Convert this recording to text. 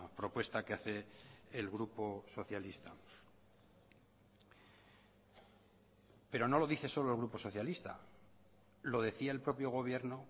propuesta que hace el grupo socialista pero no lo dice solo el grupo socialista lo decía el propio gobierno